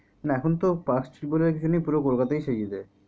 না এখন তো park street বলে কিছু নেই গোটা কোলকাতাই সাজিয়ে দেয়।